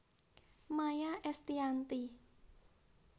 Maya Estianty